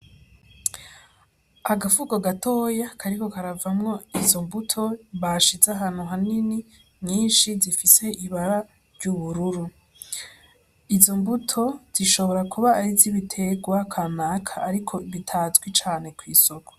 Agafuko gatoya kariko karavamwo izombuto bashize ahantu hanini nyinshi zifise ibara ry'ubururu, izo mbuto zishobora kuba arizibitegwa kanaka ariko bitazwi cane kw'isoko.